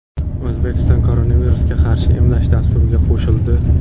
O‘zbekiston koronavirusga qarshi emlash dasturiga qo‘shildi.